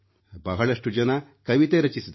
ಬಹಳಷ್ಟು ಜನರು ಕವಿತೆ ರಚಿಸಿದರು